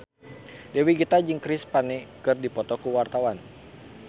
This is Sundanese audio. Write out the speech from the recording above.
Dewi Gita jeung Chris Pane keur dipoto ku wartawan